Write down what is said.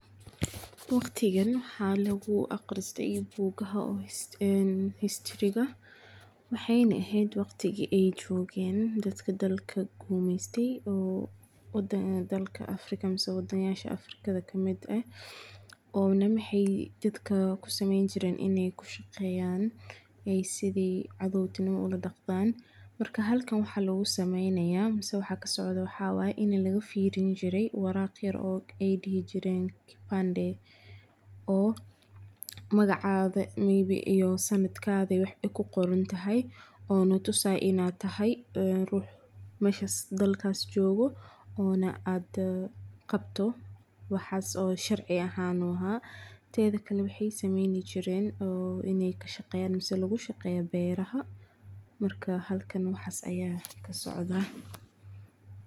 Waqdikan waxa lagu aqrista boogaha history waxayna aheeyt waqdiki ee joken dadka dadka kumeystihi oo dalka afrikatha kamit eeh, ona dadka waxay kusameyni jireen Ina kushaqeyan ay sethi cathowtima oladaqman ,marka halkan waxakasicdoh Ina lagafirinjiray waraqa yar oo aay dehi jireen kibande oo maqacathi iyo sanatka wax ay kiqoronthay oo natusaya inaytahay ruux meshasi dalkasi jokoh Oona aa Qabtoh waxasi sharci aahn tethakali waxaysameyni Jiren beeraha marka halkan waxas aya kasocdah.